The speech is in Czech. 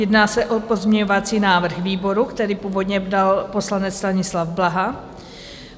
Jedná se o pozměňovací návrh výboru, který původně dal poslanec Stanislav Blaha.